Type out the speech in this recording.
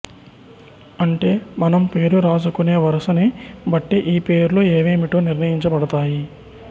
అంటే మనం పేరు రాసుకునే వరసని బట్టి ఈ పేర్లు ఏవేమిటో నిర్ణయించ బడతాయి